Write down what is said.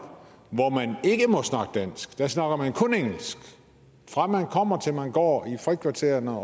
hvor man der snakker man kun engelsk fra man kommer til man går i frikvartererne